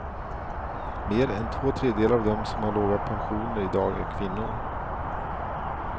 Mer än två tredjedelar av dem som har låga pensioner i dag är kvinnor.